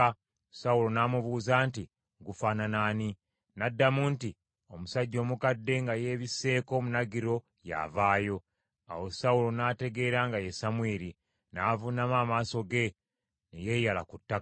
Sawulo n’amubuuza nti, “Gufaanana ani?” N’addamu nti, “Omusajja omukadde nga yeebisseeko omunagiro y’avaayo.” Awo Sawulo n’ategeera nga ye Samwiri, n’avuunama amaaso ge, ne yeeyala ku ttaka.